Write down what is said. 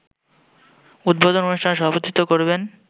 উদ্বোধন অনুষ্ঠানে সভাপতিত্ব করবেন